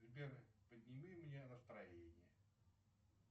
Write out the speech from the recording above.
сбер подними мне настроение